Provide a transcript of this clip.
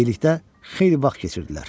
Birlikdə xeyli vaxt keçirdilər.